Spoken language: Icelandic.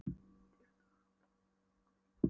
Drífðu nú hárborðann í barnið, kona.